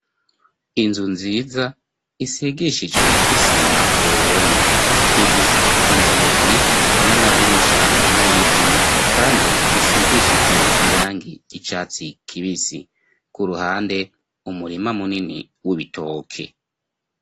Inzu nziza isigishijwe isima ku ruhome ifise inzugi n'amadirisha vy'ibiti, kandi bisigishijwe irangi ry'icatsi kibisi ku ruhande umurima munini w'ibitoke.